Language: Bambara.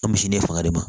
An misi ne fanga de ma